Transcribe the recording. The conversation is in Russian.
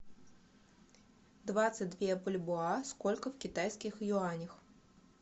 двадцать две бальбоа сколько в китайских юанях